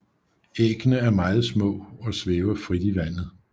Æggene er meget små og svæver frit i vandet